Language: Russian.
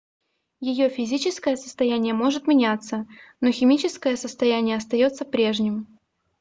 ее физическое состояние может меняться но химическое состояние остается прежним